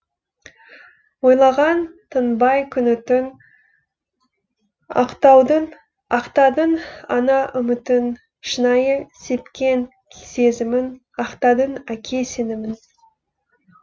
ойлаған тынбай күні түн ақтадың ана үмітін шынайы сепкен сезімін ақтадың әке сенімін